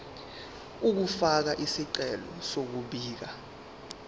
ukufaka isicelo sokubika